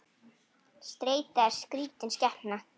Streita er skrítin skepna.